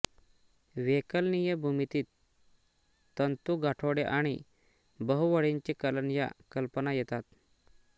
वैकलनीय भूमितीत तंतूगाठोडे आणि बहुवळींचे कलन या कल्पना येतात